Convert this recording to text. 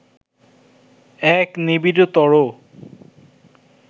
এক নিবিড়তর